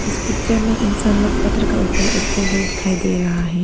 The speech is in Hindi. इस पिक्चर में इंसान लोग पत्थर का ऊपर उठते हुए दिखाई दे रहा है।